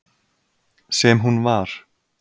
Sem hún var.